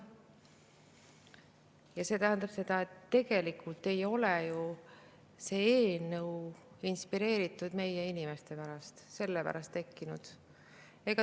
Ja see tähendab seda, et tegelikult ei ole ju see eelnõu inspireeritud meie inimestest, see ei ole selle pärast tekkinud.